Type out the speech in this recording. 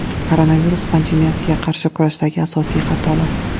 Koronavirus pandemiyasiga qarshi kurashdagi asosiy xatolar.